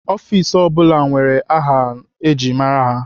Ọfiks ọ bụla nwere aha eji mara ha.